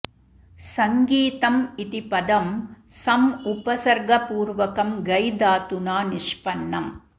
सङ्गीतम् इति पदं सम् उपसर्गपूर्वकं गै धातुना निष्पन्नम्